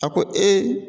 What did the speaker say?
A ko e